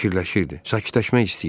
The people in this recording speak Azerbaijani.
Fikirləşirdi, sakitləşmək istəyirdi.